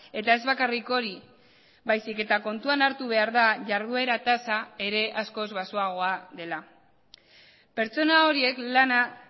eta ez bakarrik hori baizik eta kontuan hartu behar da jarduera tasa ere askoz baxuagoa dela pertsona horiek lana